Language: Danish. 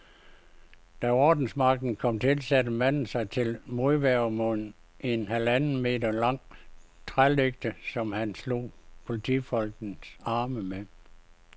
Da ordensmagten kom til, satte manden sig til modværge med en halvanden meter lang trælægte, som han slog politifolkenes arme med.